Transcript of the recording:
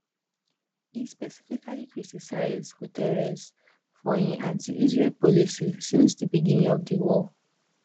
e specifically criticise guterres for im antiisrael policy since di beginning of di war